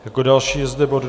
Jako další je zde bod